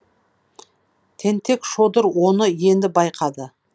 тентек шодыр оны енді байқады